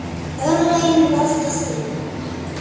Örlögin valda því.